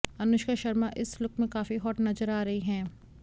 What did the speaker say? अनुष्का शर्मा इस लुक में काफी हॉट नजर आ रही हैं